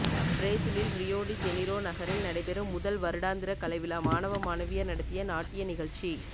பிரேசிலில் Rio de Janeiro நகரில் நடைபெறும் முதல் வருடாந்திர கலை விழா மாணவ மாணவியர் நடத்திய நாட்டிய நிகழ்ச்சி